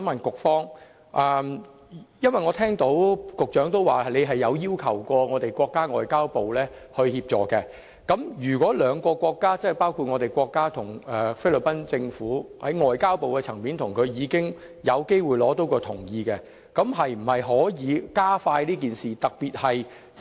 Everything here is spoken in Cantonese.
局長提到特區政府曾要求國家外交部協助，如果兩個國家，即國家與菲律賓在外交部的層面已同意有關安排，是否可以加快處理這個案？